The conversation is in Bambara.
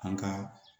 An ka